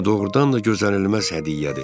Bu doğurdan da gözlənilməz hədiyyədir.